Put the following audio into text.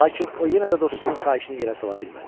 Lakin o yenə də dostunun xahişini yerə sala bilmədi.